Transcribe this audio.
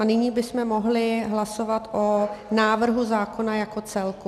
A nyní bychom mohli hlasovat o návrhu zákona jako celku.